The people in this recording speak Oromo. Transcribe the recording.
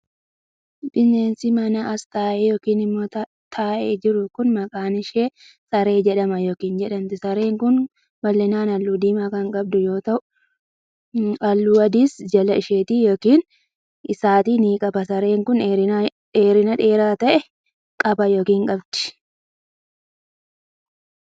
Bineensi manaa as teessee yokin immoo taa'e jiru kun, maqaan ishee saree jedhama yokin jedhamti. Sareen kun, bal'inaan haalluu diimaa kan qabdu yoo ta'u, haalluu adiis jala isheetti yokin isaatti ni qaba. Sareen kun, dheerina dheeraa ta'e qaba yookin qabdi.